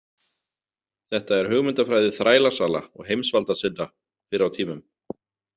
Þetta er hugmyndafræði þrælasala og heimsvaldasinna fyrr á tímum.